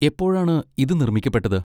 എപ്പോഴാണ് ഇത് നിർമ്മിക്കപ്പെട്ടത്?